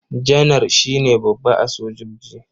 Janar shi ne babba a sojoji.